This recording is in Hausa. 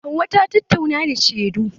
Hauwa ta tatauna da shedun.